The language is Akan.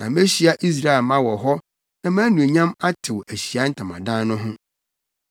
Na mehyia Israelmma wɔ hɔ na mʼanuonyam atew Ahyiae Ntamadan no ho.